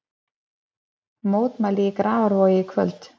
Mótmæli í Grafarvogi í kvöld